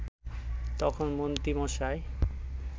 তখন মন্ত্রীমশাই